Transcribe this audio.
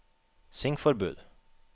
svingforbud